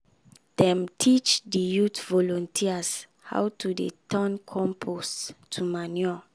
dem teach the youth volunteers how to dey turn compost to manure.